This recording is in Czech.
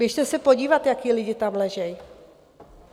Běžte se podívat, jací lidi tam leží.